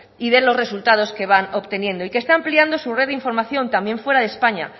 y de los resultados que van obteniendo y que están ampliando su red de información también fuera de españa